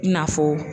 I n'a fɔ